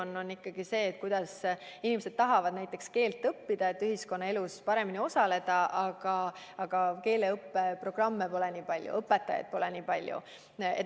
See on ikkagi see: inimesed tahavad eesti keelt õppida, et ühiskonnaelus paremini osaleda, aga keeleõppeprogramme pole nii palju ja ka õpetajaid pole nii palju.